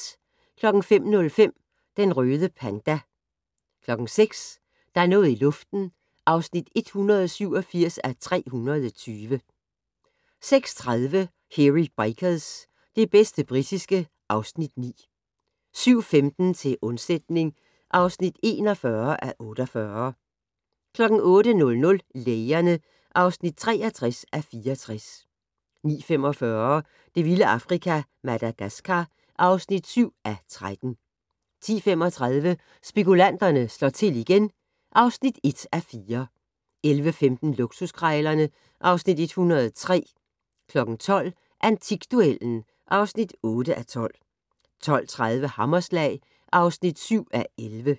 05:05: Den røde panda 06:00: Der er noget i luften (187:320) 06:30: Hairy Bikers - det bedste britiske (Afs. 9) 07:15: Til undsætning (41:48) 08:00: Lægerne (63:64) 09:45: Det vilde Afrika - Madagaskar (7:13) 10:35: Spekulanterne slår til igen (1:4) 11:15: Luksuskrejlerne (Afs. 103) 12:00: Antikduellen (8:12) 12:30: Hammerslag (7:11)